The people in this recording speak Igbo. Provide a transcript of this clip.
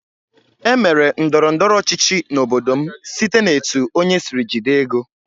Emere ndọrọ ndọrọ ọchịchị n'obodo m site n'etu onye sịrị jide ego